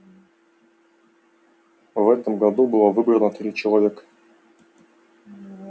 в этом году было выбрано три человека